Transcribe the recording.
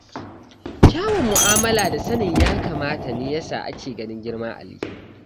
Kyawun mu'amala da sanin ya kamata ne ya sa ake ganin girman Ali.